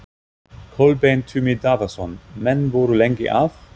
Kolbeinn Tumi Daðason: Menn voru lengi að?